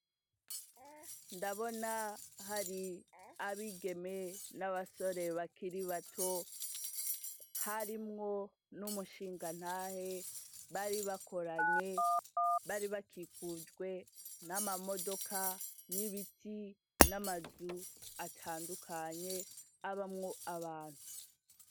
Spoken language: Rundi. Ndabona hari abigeme, n'abasore bakiri bato, harimwo n'umushingantahe; bari bakoranye, bari bakikujwe n'amamodoka, n'ibiti, n'amazu atandukanye abamwo abantu.